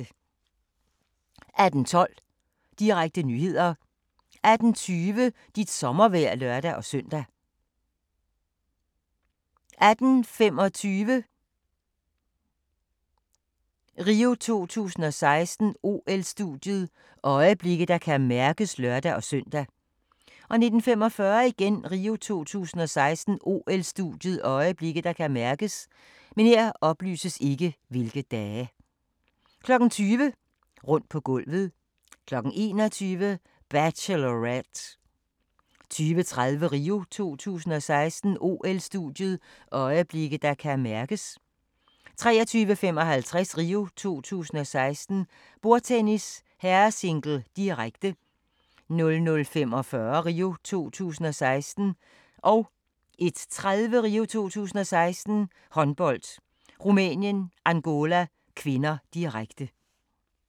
18:12: Regionale nyheder 18:20: Dit sommervejr (lør-søn) 18:25: RIO 2016: OL-studiet – øjeblikke, der kan mærkes (lør-søn) 19:45: RIO 2016: OL-studiet – øjeblikke, der kan mærkes 20:00: Rundt på gulvet 21:00: Bachelorette 22:30: RIO 2016: OL-studiet – øjeblikke, der kan mærkes 23:55: RIO 2016: Bordtennis - herresingle, direkte 00:45: RIO 2016: Håndbold, Rumænien-Angola (k), direkte 01:30: RIO 2016: Håndbold, Rumænien-Angola (k), direkte